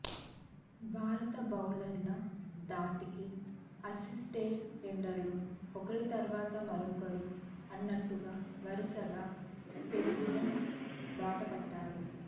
భారత బౌలర్ల ధాటికి ఆసీస్ టెయిలెండర్లు ఒకరి తర్వాత మరొకరు అన్నట్టుగా వరుసగా పెవిలియన్ బాటపట్టారు